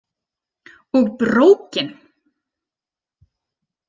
Og BRÓKIN!